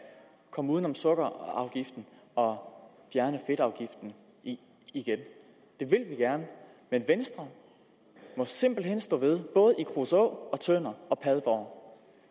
komme uden om sukkerafgiften og fjerne fedtafgiften igen det vil vi gerne men venstre må simpelt hen stå ved både i kruså tønder og padborg